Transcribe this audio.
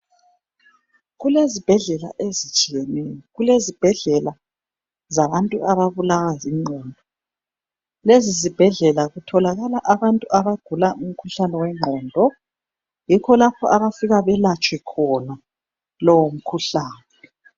Kulezibhedlela ezitshiyeneyo, kulezibhedlela zabantu ababulawa zingqondo. Lezi zibhedlela kutholakala abantu abagula umkhuhlane wengqondo. Yikho lapho abafika belatshwe khona lowo mkhuhlane.